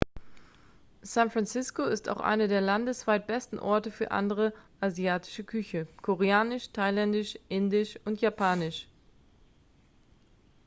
san francisco ist auch einer der landesweit besten orte für andere asiatische küche koreanisch thailändisch indisch und japanisch